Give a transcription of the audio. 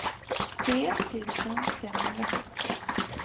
tre tusen femhundrasjuttio